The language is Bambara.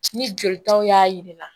Ni jolitaw y'a jira